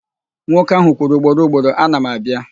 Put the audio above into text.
Nwoke ahụ kwuru ugboro ugboro, "ana m abịa".